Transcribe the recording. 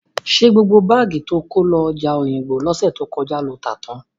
Ṣé gbogbo báàgì to kó lọ ọjà Òyìngbò lọ́sẹ̀ tó kọjá lo tà tán?